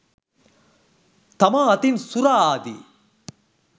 තමා අතින් සුරා ආදි